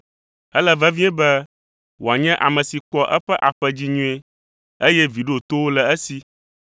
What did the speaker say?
Ele vevie be wòanye ame si kpɔa eƒe aƒe dzi nyuie, eye vi ɖotowo le esi.